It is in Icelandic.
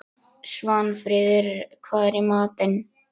Svanfríður, hvað er í matinn?